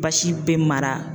Basi bɛ mara.